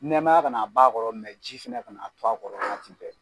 Nɛmaya kana ban kɔrɔ ji fɛnɛ kana to a kɔrɔ waati bɛɛ.